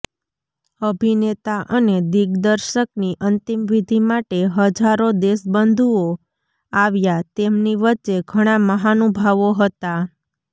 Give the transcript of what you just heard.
અભિનેતા અને દિગ્દર્શકની અંતિમવિધિ માટે હજારો દેશબંધુઓ આવ્યા તેમની વચ્ચે ઘણા મહાનુભાવો હતા